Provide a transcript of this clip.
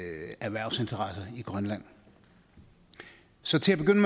erhvervsinteresser i grønland så til at begynde